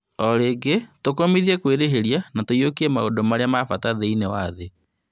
Orĩngĩ tũkũmithie kwĩrĩhĩria na kũiyũkia maũndũ marĩa mabata thĩ-inĩ wa thĩ